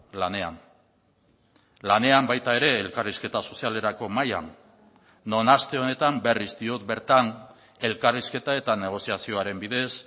lanean lanean baita ere elkarrizketa sozialerako mahaian non aste honetan berriz diot bertan elkarrizketa eta negoziazioaren bidez